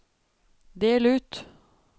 del ut